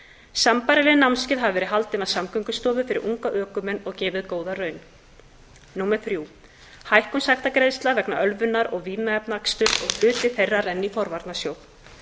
sambærileg námskeið hafa verið haldin af samgöngustofu fyrir unga ökumenn og gefið góða raun þriðja hækkun sektargreiðslna vegna ölvunar og vímuefnaaksturs og hluti þeirra renni í forvarnasjóð